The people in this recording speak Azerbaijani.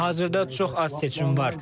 Hazırda çox az seçim var.